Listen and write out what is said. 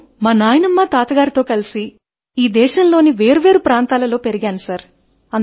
నేను మా నాయనమ్మ తాతగారితో కలిసి ఈ దేశములోని వేర్వేరు ప్రాంతాలలో పెరిగాయను సార్